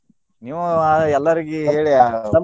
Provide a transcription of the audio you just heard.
ನೀವು ಎಲ್ಲಾರ್ಗು ಹೇಳಿ.